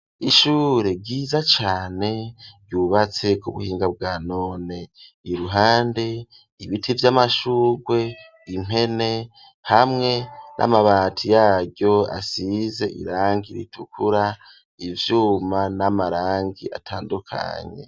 Ishure ryiza cane ryubatse ku buhinga bwanone iruhande ibiti vyamashugwe, impene hamwe n'amabati yaryo asize irangi ritukura ivyuma n'amarangi atandukanye.